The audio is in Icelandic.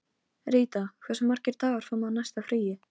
Ríta, hversu margir dagar fram að næsta fríi?